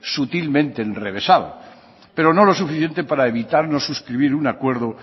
sutilmente enrevesado pero no lo suficiente para evitar no suscribir un acuerdo